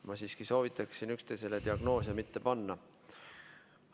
Ma siiski soovitan diagnoose üksteisele mitte panna.